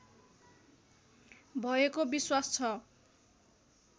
भएको विश्वास छ